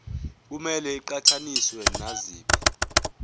kumele iqhathaniswe naziphi